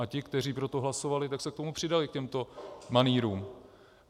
A ti, kteří pro to hlasovali, tak se k tomu přidali, k těmto manýrům.